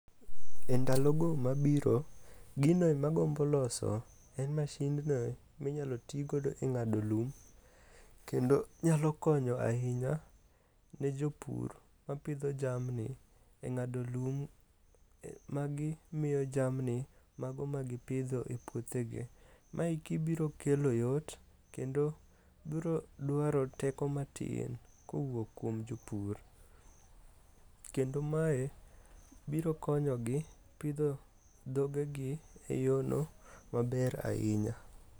E ndalogo mabiro ginoe magombo loso en mashindno minyalo tigodo e ng'ado lum kendo nyalo konyo ahinya ne jopur mapidho jamni e ng'ado lum magimiyo jamni mago magipidho e puothegi. Maeki biro kelo yot, kendo brodwaro teko matin kowuok kuom jopur, kendo mae biro konyogi pidho dhogegi e yono maber ahinya.